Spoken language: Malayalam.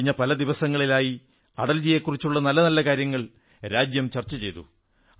കഴിഞ്ഞ പല ദിവസങ്ങളായി അടൽജിയെക്കുറിച്ചുള്ള നല്ല നല്ല കാര്യങ്ങൾ രാജ്യം ചർച്ച ചെയ്തു